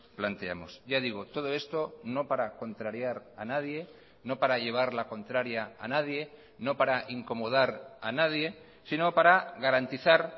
planteamos ya digo todo esto no para contrariar a nadie no para llevar la contraria a nadie no para incomodar a nadie sino para garantizar